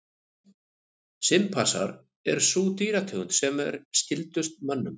Simpansar er sú dýrategund sem er skyldust mönnum.